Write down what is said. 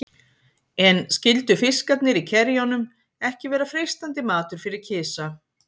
En skyldu fiskarnir í kerjunum ekki vera freistandi matur fyrir kisa?